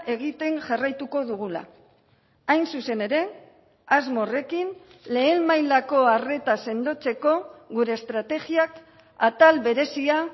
egiten jarraituko dugula hain zuzen ere asmo horrekin lehen mailako arreta sendotzeko gure estrategiak atal berezia